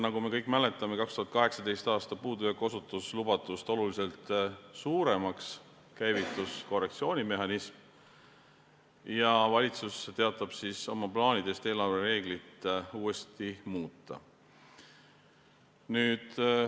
Nagu me kõik mäletame, 2018. aasta puudujääk osutus lubatust oluliselt suuremaks, käivitus korrektsioonimehhanism ja valitsus teatas oma plaanidest eelarvereegleid uuesti muuta.